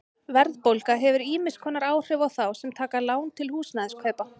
Verðbólga hefur ýmiss konar áhrif á þá sem taka lán til húsnæðiskaupa.